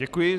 Děkuji.